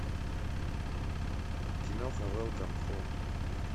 киноха велкам хом